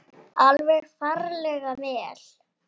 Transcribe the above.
Alveg ferlega vel.